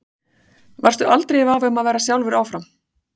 Varstu aldrei í vafa um að vera sjálfur áfram?